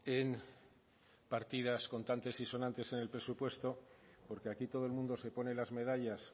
en partidas contantes y sonantes en el presupuesto porque aquí todo el mundo se pone las medallas